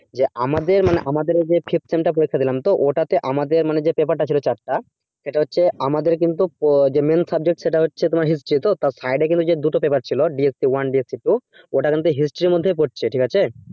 যে আমাদের মানে আমাদের যে fifth sem টা পরীক্ষাটা দিলাম তো ওটা তে আমাদের যে মানে paper টা ছিলো চারটা সেটা হচ্ছে আমাদের কিন্তু যে main subject সেটা হচ্ছে তোমার history তো তার side এ যে দুটো paper ছিল dsp one dsp two ওটা কিন্তু history এর মধ্যেই পড়ছে ঠিক আছে